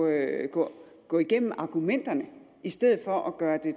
at gå gå igennem argumenterne i stedet for at gøre det